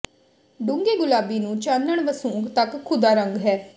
ਡੂੰਘੇ ਗੁਲਾਬੀ ਨੂੰ ਚਾਨਣ ਵਸੂੰਕ ਤੱਕ ਖ਼ੁਦਾ ਰੰਗ ਹੈ